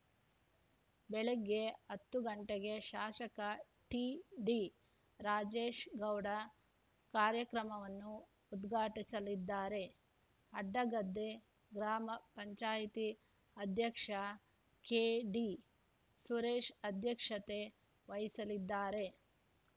ಬೆಳಗ್ಗೆ ಹತ್ತು ಗಂಟೆಗೆ ಶಾಸಕ ಟಿಡಿ ರಾಜೇಗೌಡ ಕಾರ್ಯಕ್ರಮವನ್ನು ಉದ್ಘಾಟಿಸಲಿದ್ದಾರೆ ಅಡ್ಡಗದ್ದೆ ಗ್ರಾಮ ಪಂಚಾಯಿತಿ ಅಧ್ಯಕ್ಷ ಕೆಡಿ ಸುರೇಶ್‌ ಅಧ್ಯಕ್ಷತೆ ವಹಿಸಲಿದ್ದಾರೆ